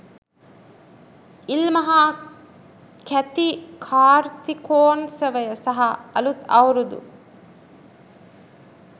ඉල්මහා කැති කාර්තිකෝන්සවය සහ අලුත් අවුරුදු